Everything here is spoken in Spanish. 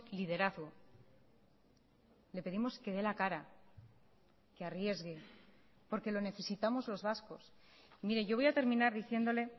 liderazgo le pedimos que dé la cara que arriesgue porque lo necesitamos los vascos mire yo voy a terminar diciéndole